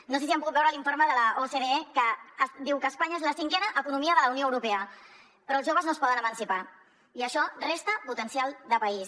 no sé si han pogut veure l’informe de l’ocde que diu que espanya és la cinquena economia de la unió europea però els joves no es poden emancipar i això resta potencial de país